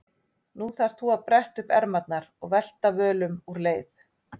Nú þarft þú að bretta upp ermarnar og velta völum úr leið.